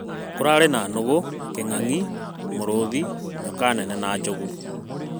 Kũrarĩ na nũgũ, kĩng'angi, mũrũthi nyoka nene na njogu